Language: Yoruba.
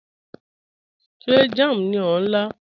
Ṣé jàm ní o n la?